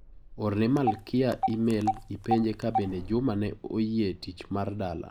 Orne Malkia emel ipenje ka bende Juma ne oyie tich mar dala